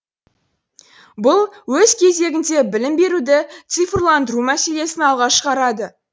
бұл өз кезегінде білім беруді цифрландыру мәселесін алға шығарады